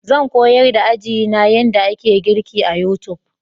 Zan koyar da ajina yadda ake girki a YouTube.